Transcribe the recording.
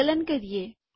સંકલન કરીએ